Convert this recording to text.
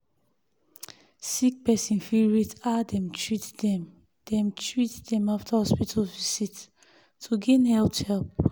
sick person fi rate how dem treat dem dem treat dem after hospital to gain health help.